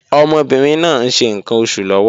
Ọmọbìnrin náà ń ṣe ǹkan oṣù lọ́wọ́